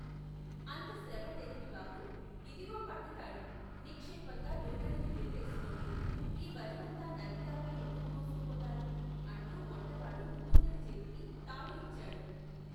అంత శ్రమ దేనికి, బాబు ? ఇదిగో పట్టుతాడు. నిక్షేపంగా దూలానికి ఉరి వేసుకోండి. ఈ బరువంతా నదిదాకా ఎందుకు మోసుకుపోతారు ? అంటూ వంటవాడు ముకుందుడి చేతికి తాడు ఇచ్చాడు.